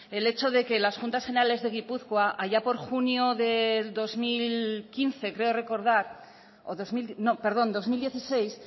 el hecho de que las juntas generales de gipuzkoa allá por junio del dos mil dieciséis